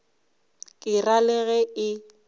ke ra le ge e